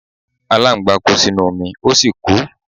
Aláǹgbá kó sínú omi ó sì kú.